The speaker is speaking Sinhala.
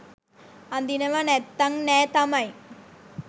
අඳිනව නැත්තං නෑ තමයි